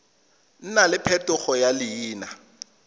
nna le phetogo ya leina